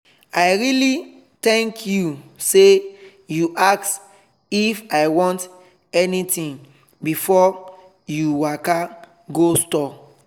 i really thank you sey you ask if i want anything before you waka go store.